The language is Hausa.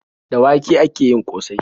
Da wake ake yin ƙosai.